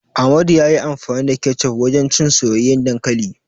Amadu ya yi amfani da kecof wajen cin soyayyen dankali.